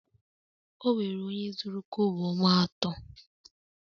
Onwere onye zuru kobo m ato